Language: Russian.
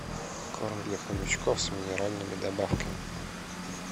корм для хомячков с минеральными добавками